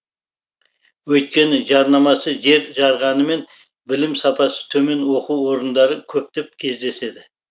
өйткені жарнамасы жер жарғанымен білім сапасы төмен оқу орындары көптеп кездеседі